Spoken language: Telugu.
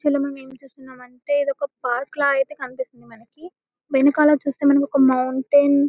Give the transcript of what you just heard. ఇక్కడ మనము ఏమి చూస్తున్నాము ఏంటే ఇది ఒక పార్క్ లాగా కనిపిస్తున్నది వెనకల చూస్తే మనకు మౌంటైన్ --